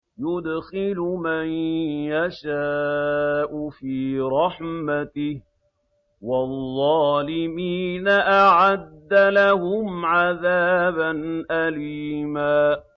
يُدْخِلُ مَن يَشَاءُ فِي رَحْمَتِهِ ۚ وَالظَّالِمِينَ أَعَدَّ لَهُمْ عَذَابًا أَلِيمًا